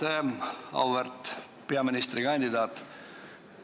Hea auväärt peaministrikandidaat!